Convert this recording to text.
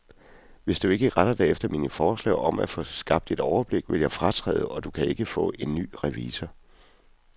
Hvis du ikke retter dig efter mine forslag om at få skabt et overblik, vil jeg fratræde, og du kan ikke få en ny revisor.